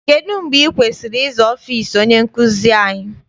Kedụ mgbe ị kwesịrị ịza ọfịịsi onye nkụzi anyị?